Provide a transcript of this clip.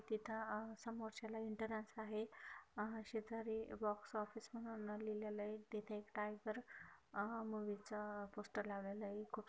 तिथ अ समोरच्याला एंट्रेन्स आहे हा अशी तरी बॉक्स ऑफिस म्हणून लिहलेल आहे तिथे एक टायगर मूवी चा पोस्टर लावलेला आहे.